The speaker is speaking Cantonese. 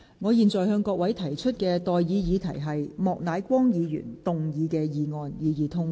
我現在向各位提出的待議議題是：莫乃光議員動議的議案，予以通過。